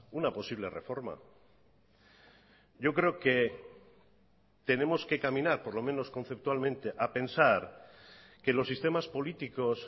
una posible reforma yo creo que tenemos que caminar por lo menos conceptualmente a pensar que los sistemas políticos